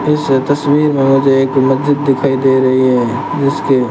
इस तस्वीर में मुझे एक मस्जिद दिखाई दे रही है जिसके--